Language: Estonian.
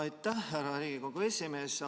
Aitäh, härra Riigikogu esimees!